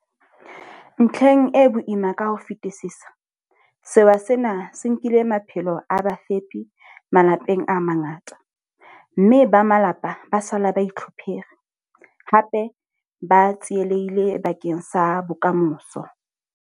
Ntlheng e boima ka ho fetisisa, sewa sena se nkile maphelo a bafepi malapeng a mangata, mme ba malapa ba sala ba itlhophere, hape ba tsielehille bakeng sa bokamoso.